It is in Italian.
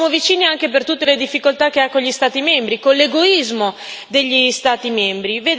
Le siamo vicini anche per tutte le difficoltà che ha con gli Stati membri, con l'egoismo degli Stati membri.